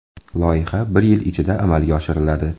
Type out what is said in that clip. Loyiha bir yil ichida amalga oshiriladi.